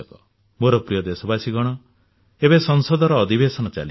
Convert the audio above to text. ମୋର ପ୍ରିୟ ଦେଶବାସୀ ଗଣ ଏବେ ସଂସଦର ଅଧିବେଶନ ଚାଲିଛି